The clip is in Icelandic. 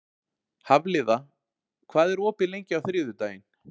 Hafliða, hvað er opið lengi á þriðjudaginn?